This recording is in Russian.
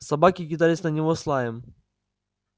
собаки кидались на него с лаем